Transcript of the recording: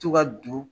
To ka don